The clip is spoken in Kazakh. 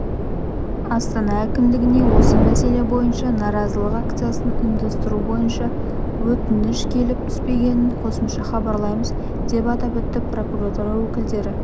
астана әкімдігіне осы мәселе бойынша наразылық акциясын ұйымдастыру бойынша өтініш келіп түспегенін қосымша хабарлаймыз деп атап өтті прокуратура өкілдері